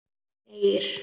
Heyr!